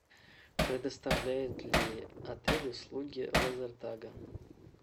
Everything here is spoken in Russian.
предоставляет ли отель услуги лазертага